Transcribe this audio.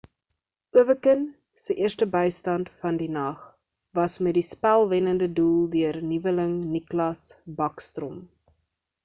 ovechkin se eerste bystand van die nag was met die spel-wennede doel deur nuweling nicklas backstrom